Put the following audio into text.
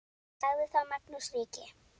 Sagði þá Magnús ríki: